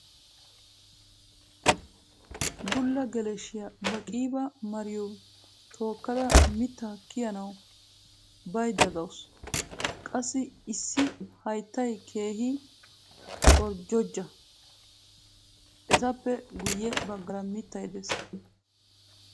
Bulla geleshiya ba qiiba mariyo tookkada mitaa kiyanawu baydda dawusu. qassi issi hayttay keehi qorjjojja. etappe guyye baggaara mittay des.